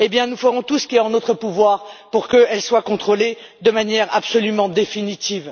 Nous ferons tout ce qui est en notre pouvoir pour qu'elles soient contrôlées de manière absolument définitive.